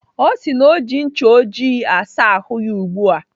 Ọ sị na ọ ji ncha ojii asa ahụ ya ugbu a.